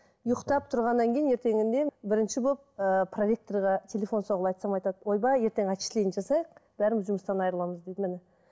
ұйықтап тұрғаннан кейін ертеңінде бірінші болып ыыы проректорға телефон соғып айтсам айтады ойбай ертең отчисление жасайық бәріміз жұмыстан айырыламыз дейді міне